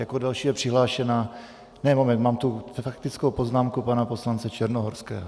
Jako další je přihlášena... ne, moment, mám tu faktickou poznámku pana poslance Černohorského.